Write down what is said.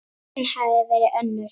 Raunin hafi verið önnur.